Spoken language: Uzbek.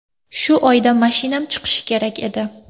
Shu oyda mashinam chiqishi kerak edi.